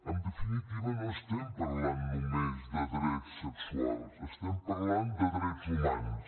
en definitiva no estem parlant només de drets sexuals estem parlant de drets humans